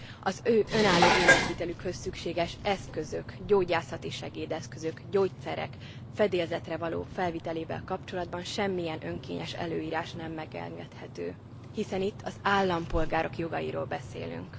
Az ő önálló életvitelükhöz szükséges eszközök, gyógyászati segédeszközök, gyógyszerek fedélzetre való felvitelével kapcsolatban semmilyen önkényes előírás nem megengedhető, hiszen itt az állampolgárok jogairól beszélünk.